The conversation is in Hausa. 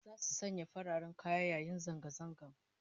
Zasu sanya fararen kaya yayin zanga zangan